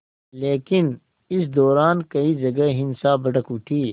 लेकिन इस दौरान कई जगह हिंसा भड़क उठी